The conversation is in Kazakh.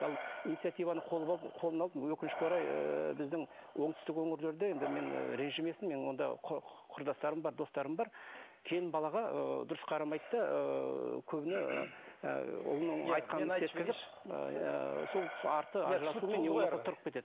ал инициативаны қолына алып өкінішке орай ыыы біздің оңтүстік өңірлерде енді мен ренжімесін менің онда қүрдастарым бар достарым бар келін балаға ыыы дұрыс қарамайды да ыыы көбіне ыыы ұлының айтқанын істеткізіп